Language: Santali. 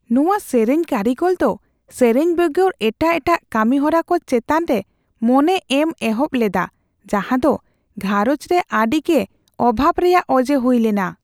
ᱱᱚᱣᱟ ᱥᱮᱨᱮᱧ ᱠᱟᱹᱨᱤᱜᱚᱞ ᱫᱚ ᱥᱮᱨᱮᱧ ᱵᱮᱜᱚᱨ ᱮᱴᱟᱜ ᱮᱴᱟᱜ ᱠᱟᱹᱢᱤ ᱦᱚᱨᱟ ᱠᱚ ᱪᱮᱛᱟᱱ ᱨᱮ ᱢᱚᱱᱮ ᱮᱢ ᱮᱦᱚᱵ ᱞᱮᱫᱟ ᱡᱟᱦᱟᱸ ᱫᱚ ᱜᱷᱟᱨᱚᱸᱡᱽ ᱨᱮ ᱟᱹᱰᱤ ᱜᱮ ᱚᱵᱷᱟᱵᱽ ᱨᱮᱭᱟᱜ ᱚᱡᱮ ᱦᱩᱭ ᱞᱮᱱᱟ ᱾